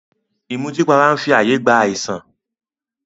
Ìmùtípara n fi ààyè gba àìsàn